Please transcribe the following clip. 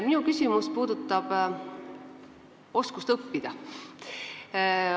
Minu küsimus puudutab oskust õppida.